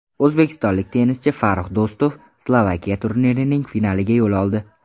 O‘zbekistonlik tennischi Farrux Do‘stov Slovakiya turnirining finaliga yo‘l oldi.